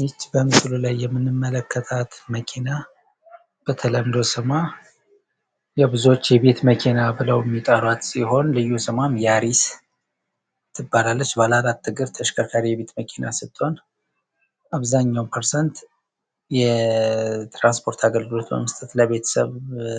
ይች በምስሉ ላይ የምንመለከታት መኪና በተለምዶ ስሟ ብዙዎች የቤት መኪና ብለው የሚጠሯት ሲሆን ልዩ ስሟ ያሪስ ትባላለች ። ባለ አራት እግር ተሽከርካሪ የቤት መኪና ስትሆን፤ አብዛኛው ፐርሰንት የትራንፖርት አገልግሎት በመስጠት ለቤተሰብ